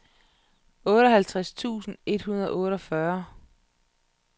otteoghalvtreds tusind et hundrede og otteogfyrre